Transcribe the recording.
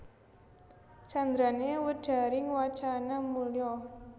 Candrané Wedharing wacana mulya